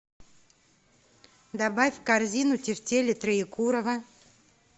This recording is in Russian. добавь в корзину тефтели троекурово